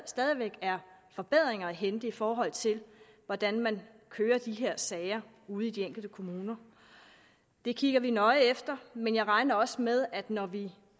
stadig væk er forbedringer at hente i forhold til hvordan man kører de her sager ude i de enkelte kommuner det kigger vi nøje efter men jeg regner også med at vi når vi